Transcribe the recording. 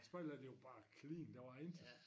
Spejderlejren det var bare clean der var intet